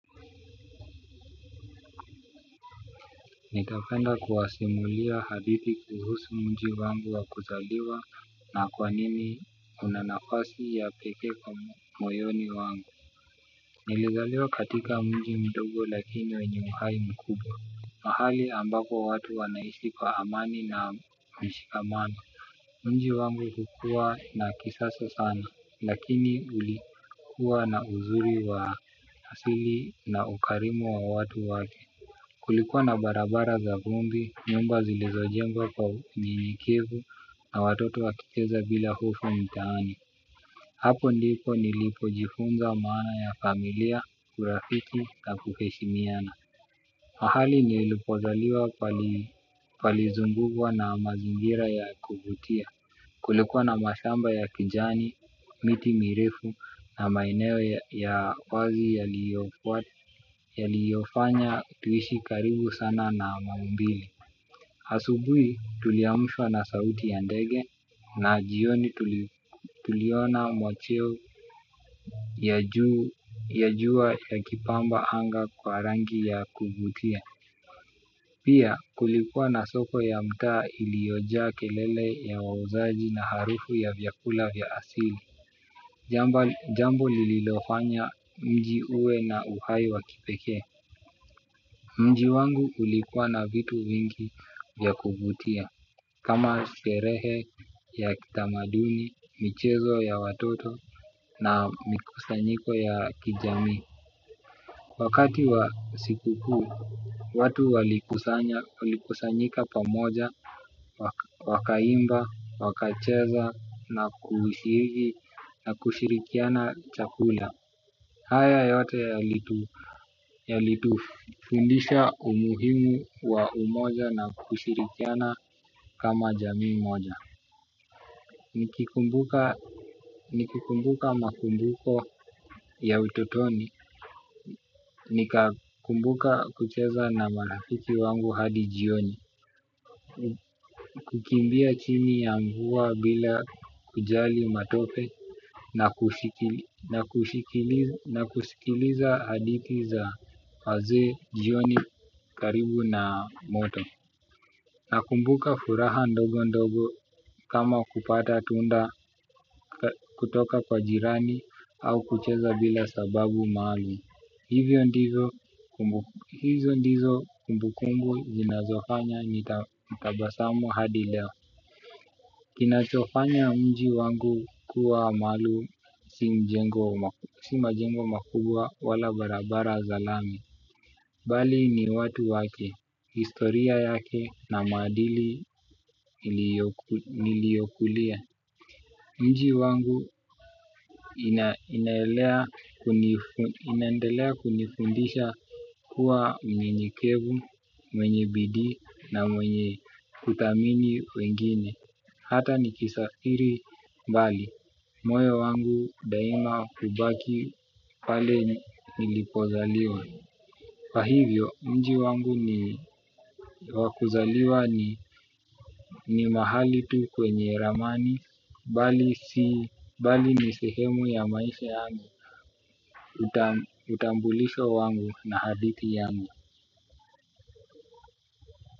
Ningependa kuwasimulia hadithi kuhusu mji wangu wa kuzaliwa na kwa nini una nafasi ya pekee kwa moyoni wangu. Nilizaliwa katika mji mdogo lakini wenye uhai mkubwa. Mahali ambako watu wanaishi kwa amani na mshikamano mji wangu ilikuwa na kisasa sana lakini ulikuwa na uzuri wa asili na ukarimu wa watu wake. Kulikuwa na barabara za vumbi nyumba zilizojengwa kwa unyenyekevu na watoto wakicheza bila hofu mtaani. Hapo ndipo nilipo jifunza maana ya familia, urafiki na kuheshimiana. Mahali nilipozaliwa palizungukwa na mazingira ya kuvutia. Kulikuwa na mashamba ya kijani, miti mirefu na maeneo ya wazi yaliyofanya tuishi karibu sana na maumbile. Asubuhi tuliamshwa na sauti ya ndege na jioni tuliona mwacheo ya jua yakipamba anga kwa rangi ya kuvutia. Pia kulikuwa na soko ya mtaa iliyojaa kelele ya wauzaji na harufu ya vyakula vya asili. Jambo lililofanya mji uwe na uhai wa kipekee mji wangu ulikuwa na vitu vingi vya kuvutia. Kama sherehe ya kitamaduni, michezo ya watoto na mikusanyiko ya kijamii wakati wa siku kuu, watu walikusanyika pamoja. Wakaimba, wakacheza na kushirikia na kushirikiana chakula. Haya yote yalitufundisha umuhimu wa umoja na kushirikiana kama jamii moja. Nikikumbuka makumbuko ya ututoni nikakumbuka kucheza na marafiki wangu hadi jioni. Kukimbia chini ya mvua bila kujali matope na kusikiliza hadithi za wazee jioni karibu na moto nakumbuka furaha ndogo ndogo kama kupata tunda kutoka kwa jirani au kucheza bila sababu mahali. Hizo ndizo kumbukumbu zinazofanya nitabasamu hadi leo. Kinachofanya mji wangu kuwa maalum si majengo makubwa wala barabara za lami. Bali ni watu wake, historia yake na maadili niliyokulia. Mji wangu inaendelea kunifundisha. Kwa mwenye mnyenyekevu, mwenye bidii na mwenye kuthamini wengine hata ni kisafiri mbali moyo wangu daima ubaki pale nilipozaliwa. Kwa hivyo mji wangu ni wakuzaliwa ni mahali tu kwenye ramani. Bali ni sehemu ya maisha yangu. Utambulisho wangu na hadithi yangu.